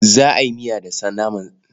Za a yi miya da naman sa.